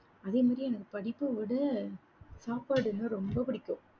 அதே மாதிரி எனக்கு படிப்பை விட சாப்பாடுன்னா ரொம்ப பிடிக்கும்